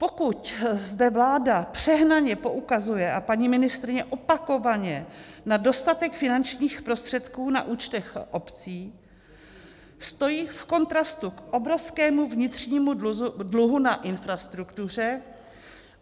Pokud zde vláda přehnaně poukazuje, a paní ministryně opakovaně, na dostatek finančních prostředků na účtech obcí, stojí v kontrastu k obrovskému vnitřnímu dluhu na infrastruktuře.